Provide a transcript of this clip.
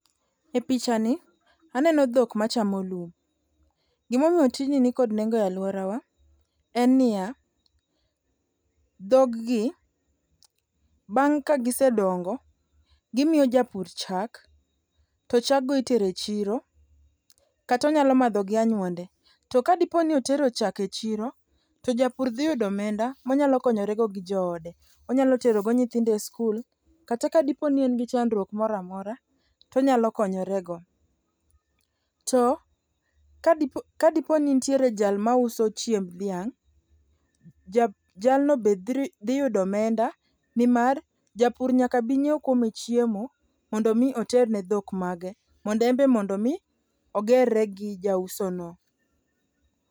E picha ni aneno dhok machamo lum. Gimomiyo tijni nikod nengo e alworawa en niya, dhoggi bang' kagisedongo, gimiyo japur chak to chaggo itero e chiro kata onyalo madhogi gi anyuonde. To kadipo ni otero chak e chiro, to japur dhiyudo omenda monyalo konyorego gi joode. Onyalo terogo nyithindo e skul kata kadipo ni en gi chandruok moro amora to onyalo konyorego. To kadiponi nitiere jal mauso chiemb dhiang' jalno be dhitudo omenda nimar japur nyaka bi nyiew kuome chiemo mondo omi oter ne dhok mage mondo embe mondo omi ogerre gi jauso no.